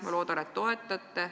Ma loodan, et toetate.